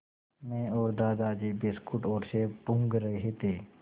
मैं और दादाजी बिस्कुट और सेब टूँग रहे थे